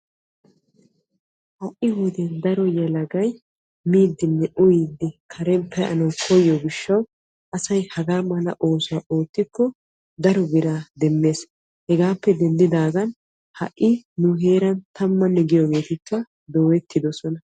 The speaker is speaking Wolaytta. Ha'i wodiyan daro yelagay miiddinne uyiddi deriyan pee'anna koyyiyo gishawu hagaa mala oosuwa oottiyooge keehippe asaa maadees.